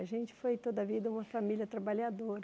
A gente foi toda a vida uma família trabalhadora.